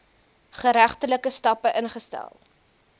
geregtelike stappe ingestel